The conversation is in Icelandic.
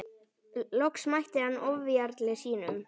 Loks mætti hann ofjarli sínum.